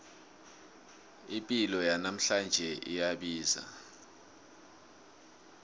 ipilo yanamhlanje iyabiza